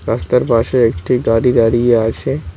রাস্তার পাশে একটি গাড়ি দাঁড়িয়ে আছে।